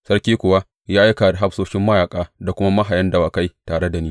Sarki kuma ya aika da hafsoshin mayaƙa da kuma mahayan dawakai tare da ni.